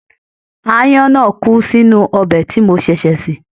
Aáyán náà kú sínú ọbẹ̀ tí mo ṣẹ̀ṣẹ̀ sè